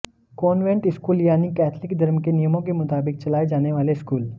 convent school यानी Catholic धर्म के नियमों के मुताबिक चलाए जाने वाले स्कूल